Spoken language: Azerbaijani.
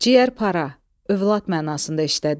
Ciyər para, övlad mənasında işlədilir.